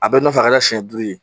A bɛɛ nɔfɛ a kɛra siɲɛ duuru ye